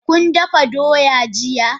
Kun dafa doya jiya?